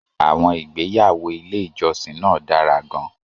Àwọn ìgbéyàwó ilé ìjọsìn náà dára gan-an.